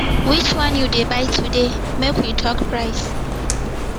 which one you dey buy today make we talk price